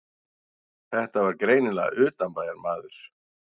Þetta var greinilega utanbæjarmaður.